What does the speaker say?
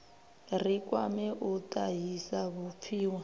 ri kwame u tahisa vhupfiwa